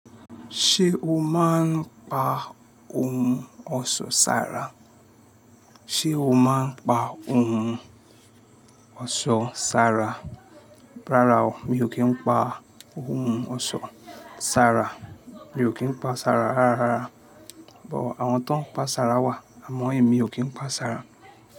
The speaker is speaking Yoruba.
Ṣé o máa ń pa ohun ọ̀ṣọ́ sára? Rárá o, mi ò kí ń pa ohun ọ̀ṣọ́ sára. Mi ò kí ń pa sára rárá. But àwọn tó ń pa sára wà, àmọ́ èmi ò kí ń pa sára.